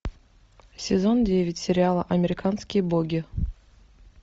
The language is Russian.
сезон девять сериала американские боги